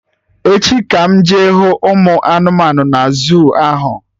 Echi ka m jee hụ ụmụ anụmanụ na zuu ahụ